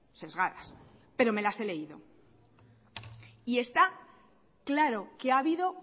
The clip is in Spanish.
sesgadas pero me las he leído y está claro que ha habido